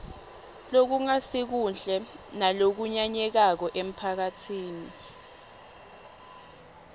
lokungasikuhle nalokunyanyekako emphakatsini